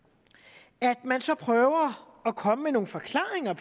er at man så prøver at komme med nogle forklaringer